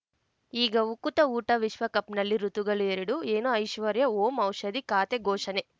ಈಗ ಉಕುತ ಊಟ ವಿಶ್ವಕಪ್‌ನಲ್ಲಿ ಋತುಗಳು ಎರಡು ಏನು ಐಶ್ವರ್ಯಾ ಓಂ ಔಷಧಿ ಖಾತೆ ಘೋಷಣೆ